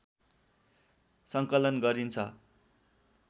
सङ्कलन गरिन्छ